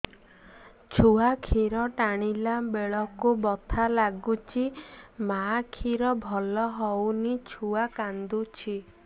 ଛୁଆ ଖିର ଟାଣିଲା ବେଳକୁ ବଥା ଲାଗୁଚି ମା ଖିର ଭଲ ହଉନି ଛୁଆ କାନ୍ଦୁଚି